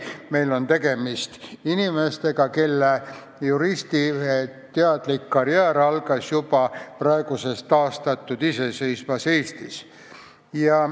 Meil on tegemist inimestega, kelle teadlik juristikarjäär algas juba praeguses taastatud iseseisvas Eestis.